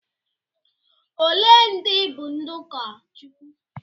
Ole ndị bụ ndị ụkọchukwu?